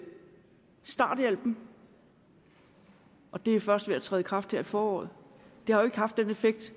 starthjælpen og det er først ved at træde i kraft her i foråret det har jo ikke haft den effekt